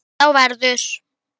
á hvorri hlið duga.